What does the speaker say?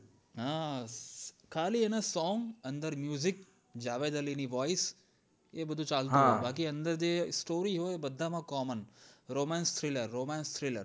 હા ખાલી એના song અંદર જવા જાળી ની voice એ બધું ચાલતું હોય બાકી અંદર જે story હોય બધા માં coman romance thriller romance thriller